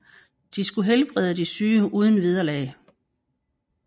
De skulle helbrede de syge uden vederlag